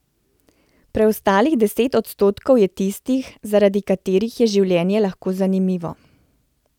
Preostalih deset odstotkov je tistih, zaradi katerih je življenje lahko zanimivo.